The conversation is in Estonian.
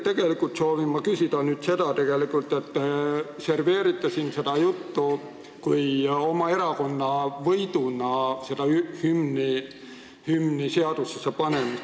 Tegelikult soovin ma aga selle kohta küsida, et te serveerite siin seda juttu, hümni seadusesse panemist, oma erakonna võiduna.